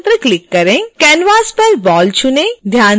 canvas पर ball चुनें